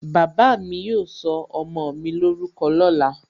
Bàbá mi yóò sọ ọmọ mi lórúkọ lóla